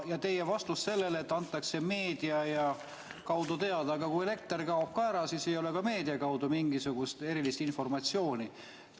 Ja teie vastus sellele, et antakse meedia kaudu teada – aga kui elekter kaob ära, siis ei ole ka meedia kaudu mingisugust erilist informatsiooni.